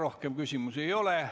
Rohkem küsimusi ei ole.